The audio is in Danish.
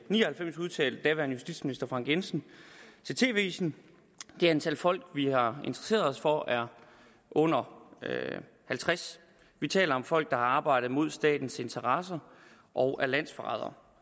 ni og halvfems udtalte den daværende justitsminister frank jensen til tv avisen det antal folk vi har interesseret os for er under halvtreds vi taler om folk der har arbejdet mod statens interesser og er landsforrædere